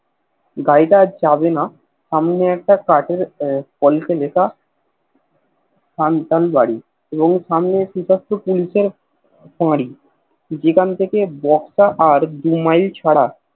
গাড়ি টা আর যাবেনা একটা কাঠের পলিশ এ লেখা থম থম গাড়ি যেখান থেকে বসত আর দু মাইল ছাড়া